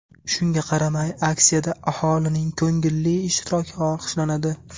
Shunga qaramay, aksiyada aholining ko‘ngilli ishtiroki olqishlanadi.